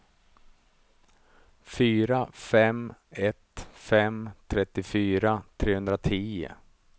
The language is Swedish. fyra fem ett fem trettiofyra trehundratio